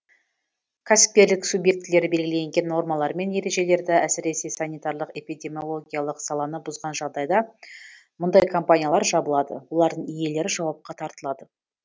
кәсіпкерлік субъектілері белгіленген нормалар мен ережелерді әсіресе санитарлық эпидемиологиялық саланы бұзған жағдайда мұндай компаниялар жабылады олардың иелері жауапқа тартылады